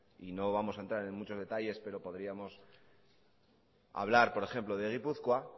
y no vamos a entrar en muchos detalles pero podríamos hablar por ejemplo de gipuzkoa